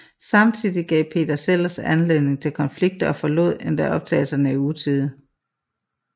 Samtidig gav Peter Sellers anledning til konflikter og forlod endda optagelserne i utide